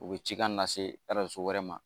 U bɛ cikan nase wɛrɛ ma